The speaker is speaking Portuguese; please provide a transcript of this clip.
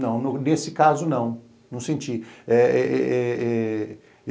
Não, nesse caso não, não senti. Eh eh eh